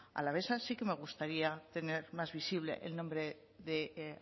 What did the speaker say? alavesa sí que me gustaría tener más visible el nombre de